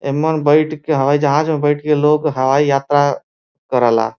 एम्मन बईठ के हवाई जहाज में बईठ के लोग हवाई यात्रा करेला।